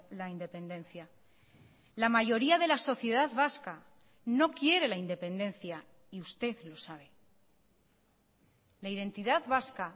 la independencia la mayoría de la sociedad vasca no quiere la independencia y usted lo sabe la identidad vasca